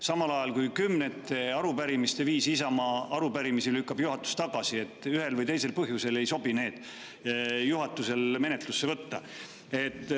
Samal ajal, kui juhatus lükkab Isamaa arupärimisi kümnete viisi tagasi, sest ühel või teisel põhjusel ei sobi neid menetlusse võtta.